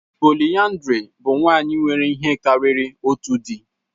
Pòliyandrì bụ nwanyị nwere ihe karịrị otu di